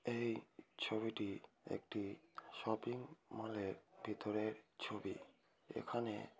এই ছবিটি একটি শপিং মলের ভেতরের ছবি এখানে--